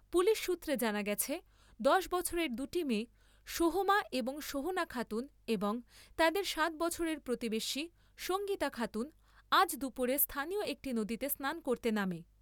Police সূত্রে জানা গেছে , দশ বছরের দুটি মেয়ে সোহমা এবং সোহনা খাতুন এবং তাদের সাত বছরের প্রতিবেশী সঙ্গীতা খাতুন আজ দুপুরে স্হানীয় একটি নদীতে স্নান করতে নামে ।